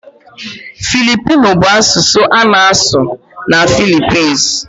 Filipino bụ asụsụ a na-asụ na Philippines.